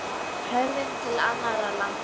Horfum til annarra landa.